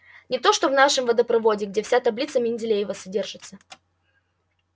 не то что в нашем водопроводе где вся таблица менделеева содержится